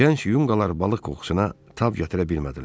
Gənc yunqalar balıq qoxusuna tab gətirə bilmədilər.